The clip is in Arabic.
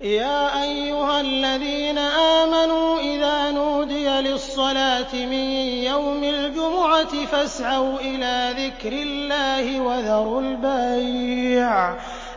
يَا أَيُّهَا الَّذِينَ آمَنُوا إِذَا نُودِيَ لِلصَّلَاةِ مِن يَوْمِ الْجُمُعَةِ فَاسْعَوْا إِلَىٰ ذِكْرِ اللَّهِ وَذَرُوا الْبَيْعَ ۚ